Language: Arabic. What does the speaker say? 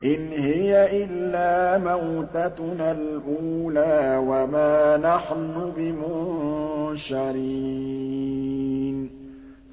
إِنْ هِيَ إِلَّا مَوْتَتُنَا الْأُولَىٰ وَمَا نَحْنُ بِمُنشَرِينَ